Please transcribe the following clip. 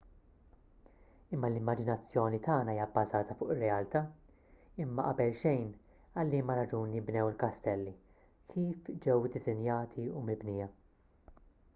imma l-immaġinazzjoni tagħna hija bbażata fuq ir-realtà imma qabel xejn għal liema raġuni nbnew il-kastelli kif ġew iddisinjati u mibnija